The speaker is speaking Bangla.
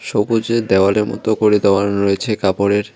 সবুজে দেওয়ালে মতো করে দেওয়ান রয়েছে কাপড়ের।